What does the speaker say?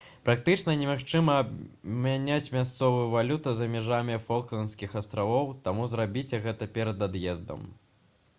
практычна немагчыма абмяняць мясцовую валюту за межамі фалклендскіх астравоў таму зрабіце гэта перад ад'ездам